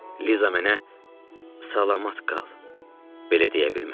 Liza mənə "Salamət qal." belə deyə bilmədi.